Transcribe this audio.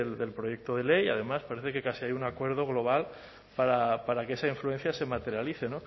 del proyecto de ley además parece que casi hay un acuerdo global para que esa influencia se materialice